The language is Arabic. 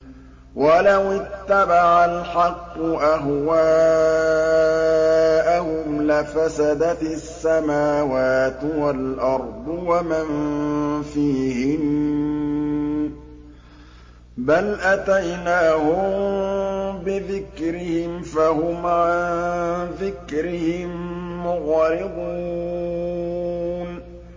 وَلَوِ اتَّبَعَ الْحَقُّ أَهْوَاءَهُمْ لَفَسَدَتِ السَّمَاوَاتُ وَالْأَرْضُ وَمَن فِيهِنَّ ۚ بَلْ أَتَيْنَاهُم بِذِكْرِهِمْ فَهُمْ عَن ذِكْرِهِم مُّعْرِضُونَ